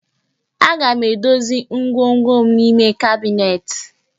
Aga m edozi ngwongwo m n'ime kabinet